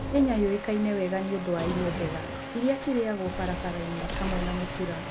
Kenya ĩĩkaine wega nĩ ũndũ wa irio njega iria ciarĩaga barabara-inĩ, hamwe na mũtuura.